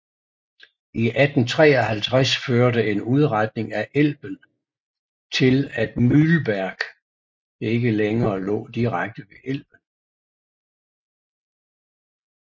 I 1853 førte en udretning af Elben til at Mühlberg ikke længere lå direkte ved Elben